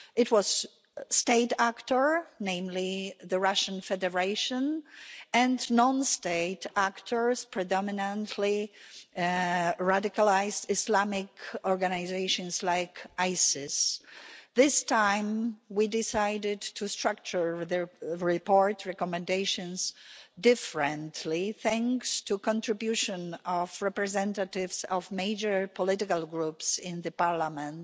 It was a state actor, namely the Russian Federation, and non state actors, predominantly radicalised Islamic organisations like Isis. This time we decided to structure the report's recommendations differently, thanks to the contribution of representatives of major political groups in the Parliament.